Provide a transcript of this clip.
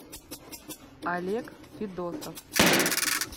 олег федосов